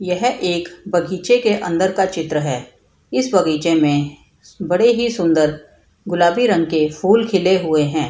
यह एक बगीचे के अंदर का चित्र है | इस बगीचे में बड़े ही सुन्दर गुलाबी रंग के फूल खिले हुए है ।